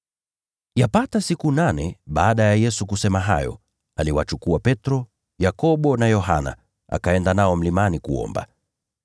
Yapata siku nane baada ya Yesu kusema hayo, aliwachukua Petro, Yakobo na Yohana, akaenda nao mlimani kuomba.